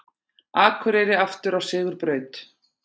Akureyri aftur á sigurbraut